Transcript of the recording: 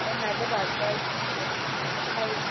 o na le batswadi dikgaetšedi